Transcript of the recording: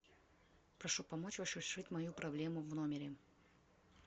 прошу помочь разрешить мою проблему в номере